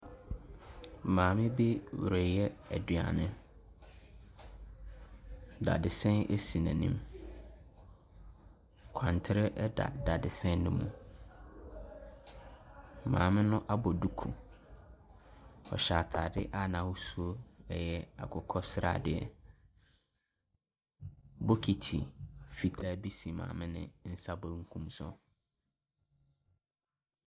Maame bi reyɛ aduane. Dadesɛn si n’anim, kwantere da dadesɛn no mu. Maame no abɔ duku, ɔhyɛ ataade a n’ahosuo yɛ akokɔ sradeɛ. Bokiti fitaa bi si maame no nsa benkum so.